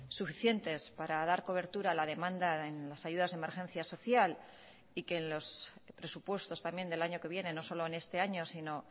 suficientes para dar cobertura a la demanda en las ayudas de emergencia social y que en los presupuestos también del año que viene no solo en este año sino